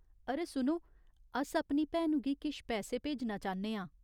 अरे सुनो, अस अपनी भैनु गी किश पैसे भेजना चाह्न्ने आं।